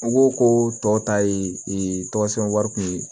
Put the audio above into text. N ko ko tɔ ta ye tɔgɔ sɛbɛn wari kun ye